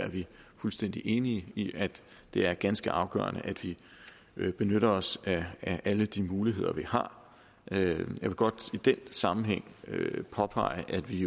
fuldstændig enige i at det er ganske afgørende at vi vi benytter os af alle de muligheder vi har jeg vil godt i den sammenhæng påpege at vi